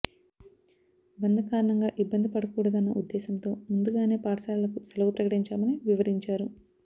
బంద్ కారణంగా ఇబ్బంది పడకూడదన్న ఉద్దేశంతో ముందుగానే పాఠశాలలకు సెలవు ప్రకటించామని వివరించారు